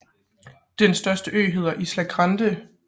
Den største ø hedder Isla Grande